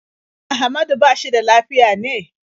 Ahmadu ba shi da lafiya ne?